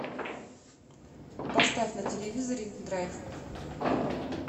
поставь на телевизоре драйв